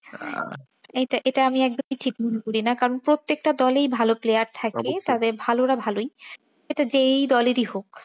এটা এটা আমি একদমই ঠিক মনে করি না। কারণ প্রত্যেকটা দলেই ভালো player থাকে। তবে ভালোরা ভালোই এটা যে দলেরই হোক।